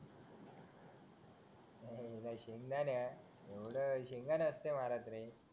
सुंदर दर्यात सुंदर असते